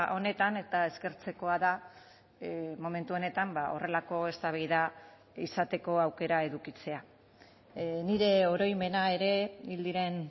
honetan eta eskertzekoa da momentu honetan horrelako eztabaida izateko aukera edukitzea nire oroimena ere hil diren